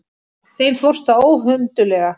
Þeim fórst það óhönduglega.